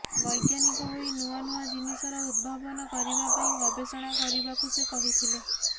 ବୈଜ୍ଞାନିକ ହୋଇ ନୂଆ ନୂଆ ଜିନିଷର ଉଦ୍ଭାବନ କରିବା ପାଇଁ ଗବେଷଣା କରିବାକୁ ସେ କହିଥିଲେ